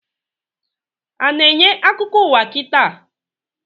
A na-enye akụkọ ụwa kita?